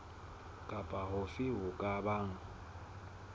kapa hofe ho ka bang